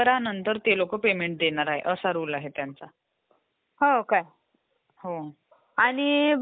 जे इंस्ट्रक्शन आपण त्याला देत असतो त्याच्यावर तो प्रोसेसिंग करून मग तो आपल्याला डेटा देत असतो. आउटपुटच्या स्वरूपात